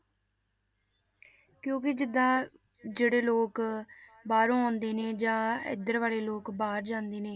ਕਿਉਂਕਿ ਜਿੱਦਾਂ ਜਿਹੜੇ ਲੋਕ ਬਾਹਰੋਂ ਆਉਂਦੇ ਨੇ ਜਾਂ ਇੱਧਰ ਵਾਲੇ ਲੋਕ ਬਾਹਰ ਜਾਂਦੇ ਨੇ